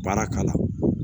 Baara k'a la